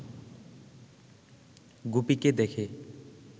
গুপিকে দেখে